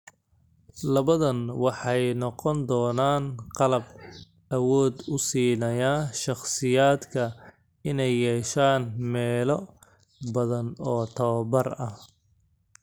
Labadan waxay noqon doonaan qalab awood u siinaya shakhsiyaadka inay yeeshaan meelo badan oo tababar ah.